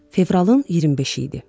Fevralın 25-i idi.